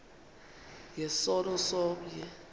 nge sono somnye